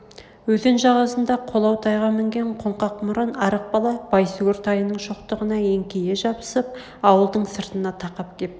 өзен жағасында қолау тайға мінген қоңқақ мұрын арық бала байсүгір тайының шоқтығына еңкейе жабысып ауылдың сыртына тақап кеп